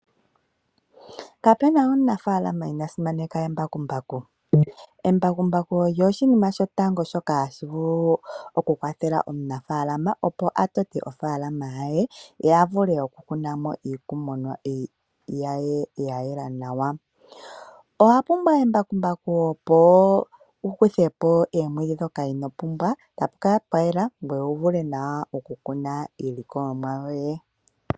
Kapena omunafaalama inaa simaneka embakumbaku. Embakumbaku olyo oshinima shotango shoka hashi vulu okukwathela omunafaalama opo atote ofaalama ye ye avule okukuna mo iilikolomwa ye ya yela nawa. Owa pumbwa embakumbaku opo wu kuthe po oomwiidhi ndhoka ino pumbwa tapu kala pwa yela ngoye wu vule nawa okukuna iilikolomwa yoye.